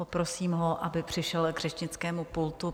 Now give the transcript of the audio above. Poprosím ho, aby přišel k řečnickému pultu.